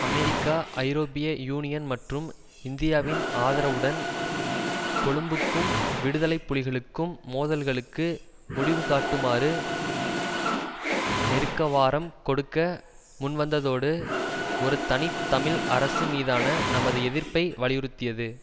America ஐரோப்பிய union மற்றும் இந்தியாவின் ஆதரவுடன் கொழும்புக்கும் விடுதலை புலிகளுக்கும் மோதல்களுக்கு முடிவுகாட்டுமாறு நெருக்கவாரம் கொடுக்க முன்வந்ததோடு ஒரு தனி தமிழ் அரசு மீதான தமது எதிர்ப்பை வலியுறுத்தியது